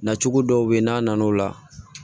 Na cogo dɔw be yen n'a nana o la